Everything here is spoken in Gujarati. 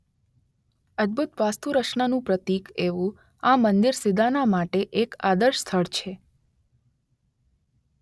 અદભુત વાસ્તુરચનાનું પ્રતીક એવું આ મંદિર સિદાના માટે એક આદર્શ સ્થળ છે.